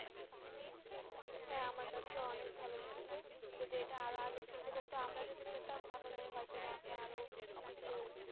হ্যাঁ, আমার কাছে ও অনেক ভালো লেগেছে। যদি এটা আর ও আগের থেকে হতো, আমরা যদি পেতাম তাহলে হয়তো বা আমরা আর ও কিছু